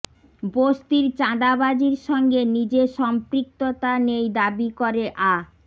বস্তির চাঁদাবাজির সঙ্গে নিজের সম্পৃক্ততা নেই দাবি করে আ